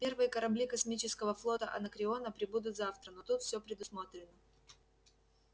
первые корабли космического флота анакреона прибудут завтра но тут все предусмотрено